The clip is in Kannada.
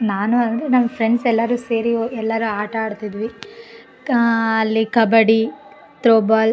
ನಾನು ಅಂದ್ರೆ ನನ ಫ್ರೆಂಡ್ಸ್ ಎಲ್ಲರೂ ಸೇರಿ ಎಲ್ಲರು ಆಟ ಆಡ್ತಿದ್ವಿ ಅಲ್ಲಿ ಕಬಡ್ಡಿ ತ್ರೋಬಾಲ್ --